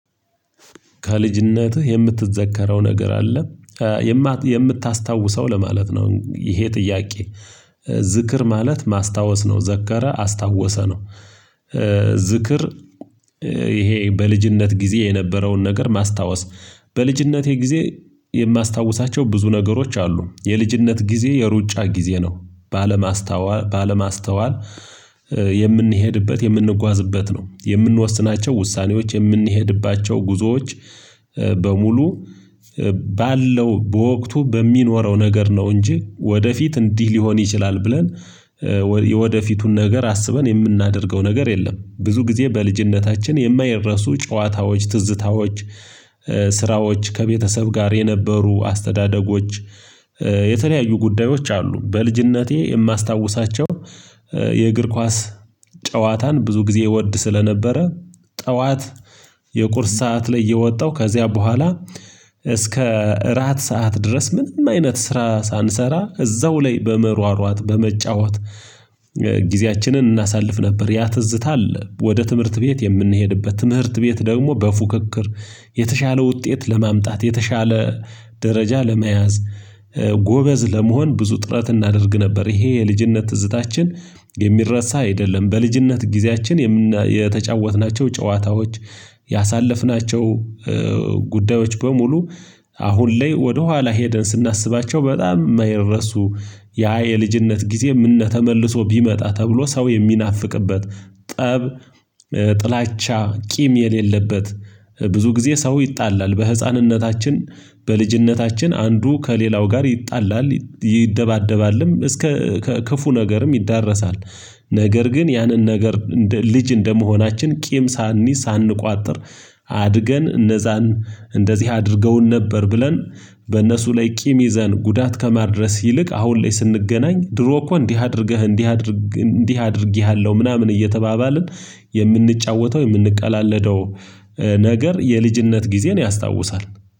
ከልጅነትህ የምትዘከረው ነገር አለ የምታስታውሰው ለማለት ነው ይህ ጥያቄ? ዝክር ማለት ማስታወሰ ነው ዘከረ አስታውሰ ነው። ዝክር ይሀረ በልጅነት ጊዜ የነበረውን ነገር ማስታወሰ በልጅነት የጊዜ የማስታውሳቸው ብዙ ነገሮች አሉ። ዠ የልጅነት ጊዜ የሩጫ ጊዜ ነው። ባለማስተዋል የምንሄድበት የምንጓዝበት ነው የምንወስናቸው ውሳኔዎች የምንሄድባቸው ጉዞዎች በሙሉ ባለው በወቅቱ በሚንወረው ነገር ነው እንጂ ወደፊት እንዲህ ሊሆን ይችላል ብለን የወደፊቱን ነገር አስበን የምናደርገው ነገር የለም። ብዙ ጊዜ በልጅነታችን የማይረሱ ጨዋታዎች ትዝታዎች ስራዎች ከቤተሰብ ጋር የነበሩ አስተዳደጎች የተለያዩ ጉዳዮች አሉ። በልጅነቴ የማስታውሳቸው የእግር ኳስ ጨዋታን ብዙ ጊዜ እወድ ስለነበረ ጠዋት የቁርስ ሰዓት ላይ እየወጣው ከዚያ በኋላ እስከ እራት ሰዓት ድረስ ምንም አይነት ስራ ሳንሰራ እዛው ላይ በመሯሯጥ በመጫወት ጊዜያችንን እናሳልፍ ነበር። ያትዝታ አለ። ወደ ትምህርት ቤት የምንሄድበት ትምህርት ቤት ደግሞ በፉክክር የተሻለ ውጤት ለማምጣት የተሻለ ደረጃ ለመያዝ ጎበዝ ለመሆን ብዙ ጥረት እናደርግ ነበር። ይሄ የልጅነት ትዝታችን የሚረሳ አይደለም። በልጅነት ጊዜያችን የተጫወትናቸው ጨዋታዎች ያሳለፍናቸው ጉዳዮች በሙሉ አሁን ላይ ወደ ኃላሄደን ስናስባቸው በጣም ማይረሱ ያ የልጅነት ጊዜ ምነው ተመልሶ ቢመጣ ተብሎ ሰው የሚናፍቅበት። ጠብ ጥላቻ ቂም የሌለበት ብዙ ጊዜ ሰው ይጣላል በህጻንነታችን በልጅነታችን አንዱ ከሌላው ጋር ይጣላልዐይደባደባልም እስከ ክፉ ነገርም ይዳረሳል። ነገር ግን ያንን ነገር ልጅ እንደመሆናችን ቂም ሳንይዝ ሳንቋጥር አድገን እነዛን እንደዚህ አድርገውን ነበር። ብለን በነሱ ላይ ቂም ይዘን ጉዳት ከማድረግ ይልቅ አሁን ላይ ስንገናኝ ድሮ እኮ እንዲህ አድርገህ እንዲህ አድርጌሀለው ምናምን እየተባባልን የምንጫወተው የምንቀላለደው ነገር የልጅነት ጊዜን ያስታውሳል።